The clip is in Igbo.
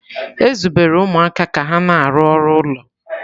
E zubere ụmụaka ka ha na-arụ ọrụ ụlọ.